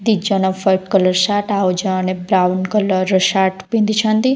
ଦି ଜଣ ୱାଇଟି colour shirt ଆଉ ଜଣେ ବ୍ରାଉନ କଲର୍ ସାର୍ଟ ପିନ୍ଧିଛନ୍ତି।